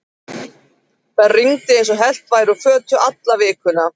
Það rigndi eins og hellt væri úr fötu alla vikuna.